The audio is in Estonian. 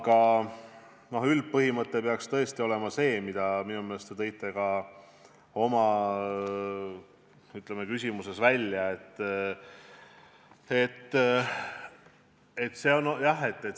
Aga üldpõhimõte peaks tõesti olema see, mille te minu meelest ka oma, ütleme, küsimuses välja tõite.